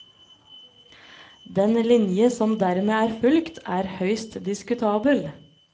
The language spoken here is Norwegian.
Den linje som dermed er fulgt, er høyst diskutabel.